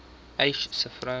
uys sê vroue